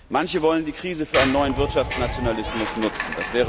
Manche wollen die Krise für einen neuen Wirtschaftsnationalismus nutzen.